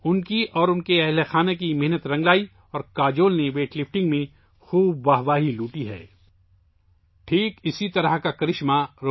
ان کی اور ان کے گھر والوں کی یہ محنت رنگ لائی اور کاجول نے ویٹ لفٹنگ میں خوب تعریفیں حاصل کیں